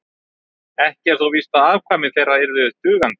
ekki er þó víst að afkvæmi þeirra yrðu dugandi